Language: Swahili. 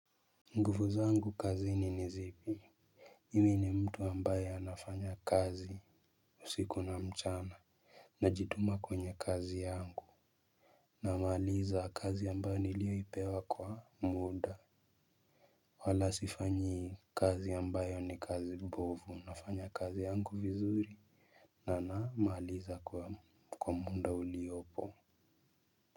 Nguvu zangu kazini nizipi mimi ni mtu ambaye anafanya kazi usiku na mchana. Najituma kwenye kazi yangu. Namaaliza kazi ambayo nilioipewa kwa muda. Wala sifanyi kazi ambayo ni kazi bovu nafanya kazi yangu vizuri. Na namaaliza kwa muda uliopo.